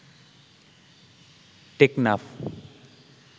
Teknaf